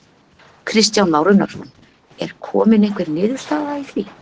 Kristján Már Unnarsson: Er komin einhver niðurstaða í því?